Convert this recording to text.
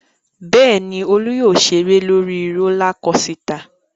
Bẹ́ẹ̀ ni, Olú yóò ṣeré lórí rólá kosità.